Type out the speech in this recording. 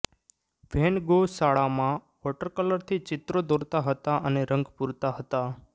van Gogh શાળામાં વોટરકલરથી ચિત્રો દોરતા હતા અને રંગ પૂરતા હતા